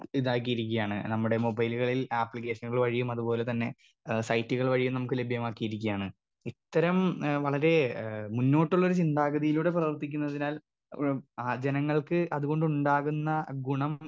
Speaker 2 ഇതാക്കിയിരിക്ക്യാണ് ഞമ്മുടെ മൊബൈലുകളിൽ ആപ്പ്ളിക്കെഷനുകൾ വഴിയും അത് പോലെ തന്നെ ഏ സൈറ്റുകൾ വഴിയും നമുക്ക് ലഭ്യമാക്കിയിരിക്കാണ് ഇത്തരം ഏ വളരെ ഏ മുന്നോട്ടുള്ളൊരു ചിന്താഗതിയിലൂടെ പ്രവർത്തിക്കുന്നതിനാൽ ഏ ആ ജനങ്ങൾക്ക് അത് കൊണ്ടുണ്ടാകുന്ന ഗുണം.